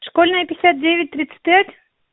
школьная пятьдесят девять тридцать пять